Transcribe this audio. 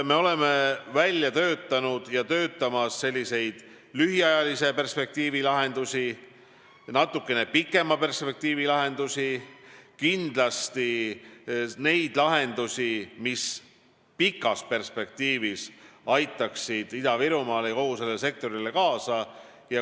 Me oleme välja töötanud ja töötamas lühiajalise perspektiivi lahendusi, natuke pikema perspektiivi lahendusi ja kindlasti neid lahendusi, mis pikas perspektiivis aitaksid Ida-Virumaa ja kogu selle sektori arengule kaasa.